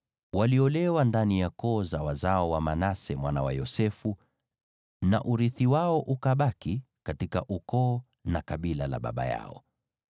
Waliolewa ndani ya koo za wazao wa Manase mwana wa Yosefu, na urithi wao ukabaki katika ukoo na kabila la baba yao.